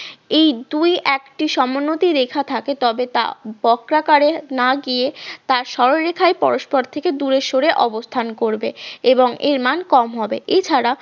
এই দুই একটি সমোন্নতি রেখা থাকে তবে তা বক্র আকারে না গিয়ে তার সরলরেখায় পরস্পর থেকে দূরে সরে অবস্থান করবে এবং এর মান কম হবে এছাড়া